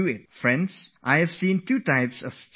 Friends, I have seen that there are two types of students